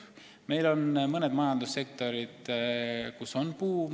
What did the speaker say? Meil on mõned majandussektorid, kus on buum.